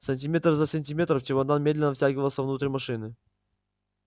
сантиметр за сантиметром чемодан медленно втягивался внутрь машины